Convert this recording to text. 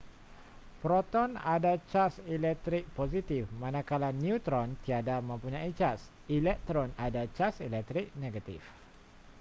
proton ada caj elektrik positif manakala neutron tiada mempunyai caj elektron ada caj elektrik negatif